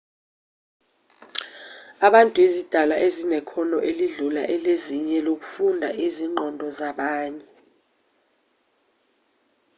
abantu izidalwa ezinekhono elidlula elezinye lokufunda izingqondo zabanye